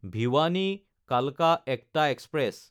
ভিৱানী–কালকা একটা এক্সপ্ৰেছ